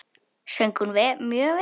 Söng hún mjög vel.